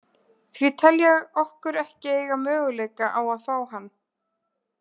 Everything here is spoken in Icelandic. Því tel ég okkur ekki eiga möguleika á að fá hann.